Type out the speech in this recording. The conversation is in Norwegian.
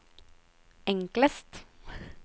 enklest